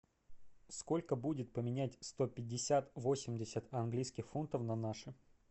сколько будет поменять сто пятьдесят восемьдесят английских фунтов на наши